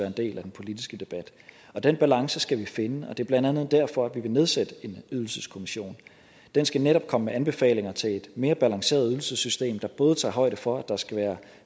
en del af den politiske debat den balance skal vi finde og det er blandt andet derfor at vi vil nedsætte en ydelseskommission den skal netop komme med anbefalinger til et mere balanceret ydelsessystem der både tager højde for at der skal være